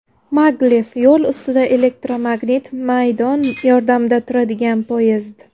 Maglev yo‘l ustida elektromagnit maydon yordamida turadigan poyezd.